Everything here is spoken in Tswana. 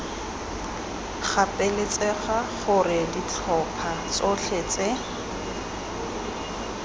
gapeletsega gore ditlhopha tsotlhe tse